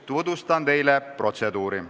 Tutvustan teile protseduuri.